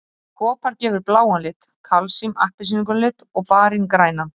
Kopar gefur bláan lit, kalsín appelsínugulan lit og barín grænan.